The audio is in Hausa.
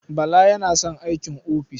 Bala yana son aikin ofis.